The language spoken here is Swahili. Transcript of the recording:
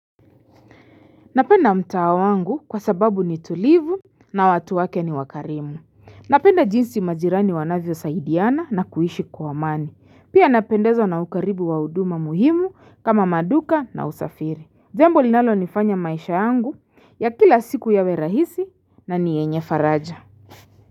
Napenda mtao wangu kwa sababu ni tulivu na watu wake ni wakarimu. Napenda jinsi majirani wanavyosaidiana na kuishi kwa mani. Pia napendezwa na ukaribu wa huduma muhimu kama maduka na usafiri. Jambo linalonifanya maisha yangu ya kila siku yawe rahisi na nienye faraja.